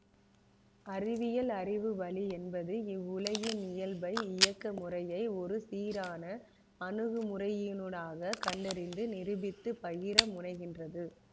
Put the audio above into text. அறிவியல் அறிவு வழி என்பது இவ்வுலகின் இயல்பை இயக்க முறையை ஒரு சீரான அணுகுமுறையினூடாகக் கண்டறிந்து நிரூபித்து பகிர முனைகின்றது